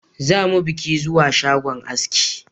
Zamu bika zuwa shagon askin